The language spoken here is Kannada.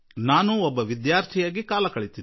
ಒಬ್ಬ ವಿದ್ಯಾರ್ಥಿಯಂತೆ ಸಮಯ ಕಳೆಯುತ್ತಿದ್ದೆ